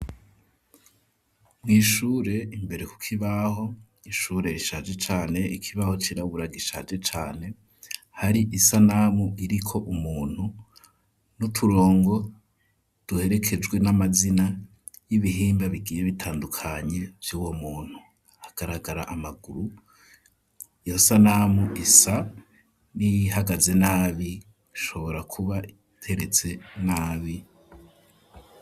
Mw'ishure imbere ku kibaho ishure rishaje cane ikibaho cirabura gishaje cane hari isanamu iriko umuntu n'uturongo duherekejwe n'amazina y'ibihimba bigiye bitandukanye vyuwo muntu agaragara amaguru iyo sanamu isa n'ihagaze nabi ishobora kuba iteretse nabi.